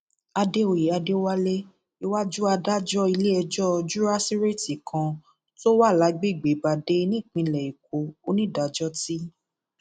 àdèoyè adéwálé iwájú adájọ iléẹjọ juráṣíréètì kan tó wà lágbègbè badáy nípìnlẹ ẹkọ onídàájọ t